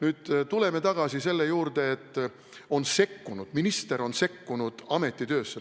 Aga tuleme tagasi selle juurde, et minister on sekkunud ameti töösse.